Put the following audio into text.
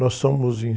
Nós somos em...